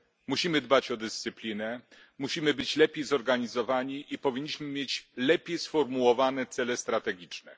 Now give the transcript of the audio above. Musimy dbać o dyscyplinę, musimy być lepiej zorganizowani i powinniśmy mieć lepiej sformułowane cele strategiczne.